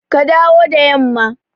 Ka dawo da yamma!